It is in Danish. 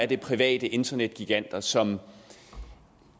det er private internetgiganter som